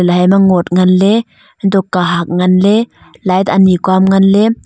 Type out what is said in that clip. laima ngot nganley unto kahak nganley light ani kua nganley.